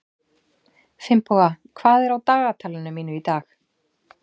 Finnboga, hvað er á dagatalinu mínu í dag?